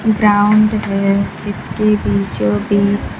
ground है जिसके बीचों बीच--